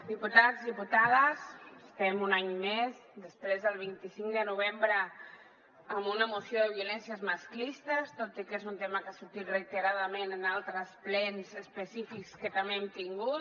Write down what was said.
diputats diputades estem un any més després del vint cinc de novembre amb una moció de violències masclistes tot i que és un tema que ha sortit reiteradament en altres plens específics que també hem tingut